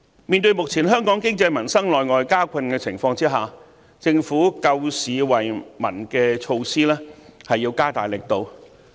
面對目前香港經濟民生內外交困的情況，政府救市惠民的措施要加大力度。